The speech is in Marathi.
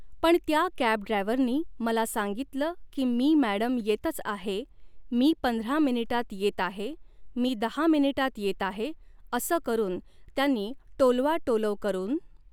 पण त्या कॅब ड्रायवरनी मला सांगितलं की मी मॅडम येतच आहे मी पंधरा मिनटात येत आहे मी दहा मिनटात येत आहे असं करून त्यांनी टोलवाटोलव करून